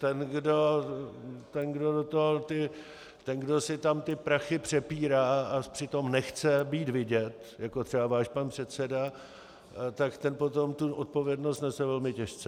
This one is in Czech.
Ten, kdo si tam ty prachy přepírá a přitom nechce být vidět, jako třeba váš pan předseda, tak ten potom tu odpovědnost nese velmi těžce.